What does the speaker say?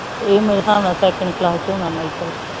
ਏਹ ਮੇਰੇ ਸਾਬ ਨਾਲ second class ਚ ਹੋਣਾ ਮਾਇਕਲ